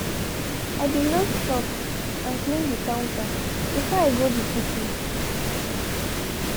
i be load chops and clean de counter before i go de picnic.